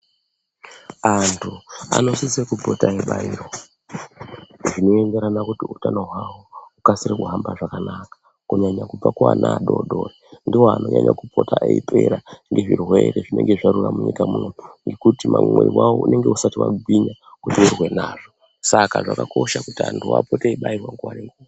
Antu anosisa kupota eibairwa zvinoenderana kuti utano hwawo hukasire kuhamba zvakanaka kunyanya kubva kuana adodori ndiwo anonyanya kupota eipera ngezvirwere zvinenge zvarura munyika munomu ngekuti mwiri wavo unenge usati wagwinya kuti urwe nazvo saka zvakakosha kuti antu apote eibairwa nguwa nenguwa.